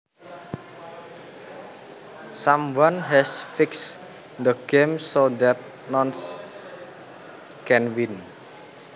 Someone has fixed the game so that noone can win